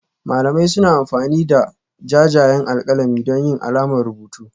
Malamai suna amfani da jajayen alƙalami don yin alamar rubutu